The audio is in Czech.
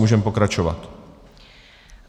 Můžeme pokračovat.